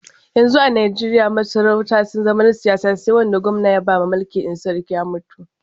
Yanzu a Najeriya masarautu sun zama na siyasa sai wanda gwamna ya bawa mulki in sarki ya mutu.